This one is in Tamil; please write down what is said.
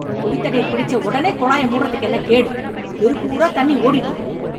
குடிதண்ணீர் பிடிச்சவொடனே, குழாயை மூடறதுக்கென்ன கேடு... தெரு பூரா தண்ணி ஓடிட்டு இருக்கு..